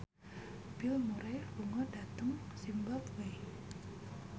Bill Murray lunga dhateng zimbabwe